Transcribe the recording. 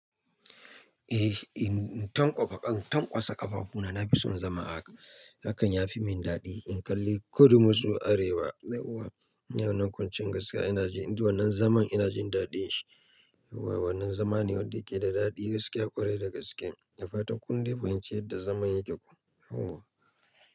Eh, in tanƙwaka, in tanƙwasa ƙafafu na, na fi son zama haka. Hakan yafi min daɗi. In kalli ko duk masu arewa, dai kuwa, ina yawon kwanciyar gaskiya, ina ji, in duya wannan zaman ina jin daɗin shi. Wai wannan zaman ne wanda yake da daɗi, ya ƙware daga cikin, na fa takun dai wance yadda zaman yake ko. Oho.